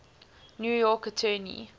new york attorney